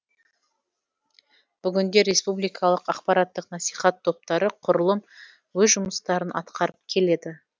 бүгінде республикалық ақпараттық насихат топтары құрылып өз жұмыстарын атқарып келеді